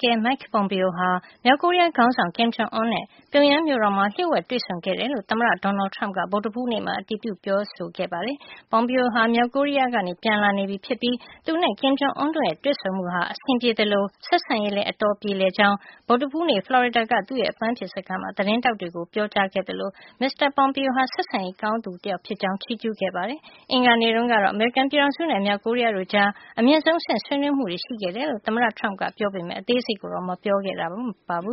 ကဲ Mike Pompeo ဟာ မြောက်ကိုရီးယားခေါင်းဆောင် Kim Jong Un နဲ့ ပြုံယမ်းမြို့တော်မှာ လျို့ဝှက်တွေ့ဆုံခဲ့တယ်လို့ သမ္မတ Donald Trump ကဗုဒ္ဓဟူးနေ့မှာ အတည်ပြုပြောဆိုလိုက်ပါတယ်။ Pompeo ဟာ မြောက်ကိုရီးယားကနေ ပြန်လာနေပြီဖြစ်ပြီး သူနဲ့ Kim Jong Un တို့ရဲ့ တွေ့ဆုံမှုဟာ အဆင်ပြေသလို ဆက်ဆံရေးလည်း အတော်ပြေလည်ကြောင်း ဗုဒ္ဓဟူးနေ့မှာ ဖလော်ရီဒါက သူ့ရဲ့အပမ်းဖြေစခန်းမှာ သတင်းထောက်တွေကို ပြောကြားခဲ့သလို မစ္စတာ Pompeo ဟာ ဆက်ဆံရေးကောင်းသူတယောက် ဖြစ်ကြောင်း ချီးကြူးခဲ့ပါတယ်။ အင်္ဂါနေ့တုန်းကတော့ အမေရိကန်ပြည်ထောင်စုနဲ့ မြောက်ကိုရီးယားတို့ကြား အမြင့်ဆုံးအဆင့် ဆွေးနွေးမှုတွေ ရှိခဲ့တယ်လို့ သမ္မတ Trump ကပြောခဲ့ပေမဲ့ အသေးစိတ်ကိုတော့ မပြောခဲ့ပါဘူ